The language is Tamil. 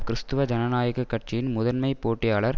கிறிஸ்தவ ஜனநாயக கட்சியின் முதன்மை போட்டியாளர்